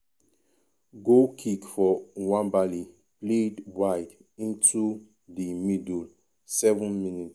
goal kick for nwabali played wide into di middle 7mins-